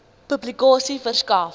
publikasie verskaf